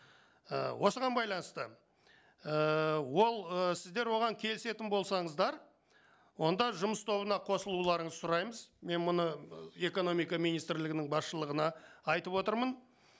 ы осыған байланысты ііі ол ііі сіздер оған келісетін болсаңыздар онда жұмыс тобына қосылуларыңызды сұраймыз мен мұны экономика министрлігінің баршылығына айтып отырмын